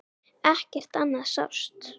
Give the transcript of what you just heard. Ekkert annað sást.